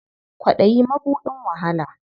Kwaɗayi mabuɗin wahala.